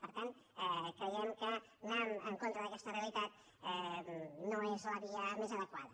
per tant creiem que anar en contra d’aquesta realitat no és la via més adequada